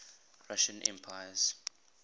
russian emperors